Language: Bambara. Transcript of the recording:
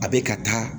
A bɛ ka taa